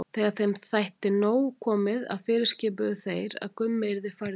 Þegar þeim þótti nóg komið fyrirskipuðu þeir að Gummi yrði færður.